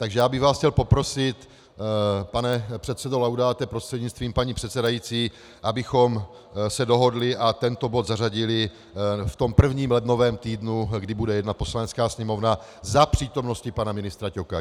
Takže já bych vás chtěl poprosit, pane předsedo Laudáte prostřednictvím paní předsedající, abychom se dohodli a tento bod zařadili v tom prvním lednovém týdnu, kdy bude jednat Poslanecká sněmovna za přítomnosti pana ministra Ťoka.